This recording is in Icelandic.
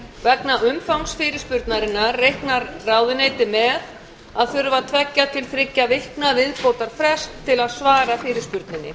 vegna umfangs fyrirspurnarinnar reiknar ráðuneytið með að þurfa tveggja til þriggja vikna viðbótarfrest til að svar fyrirspurninni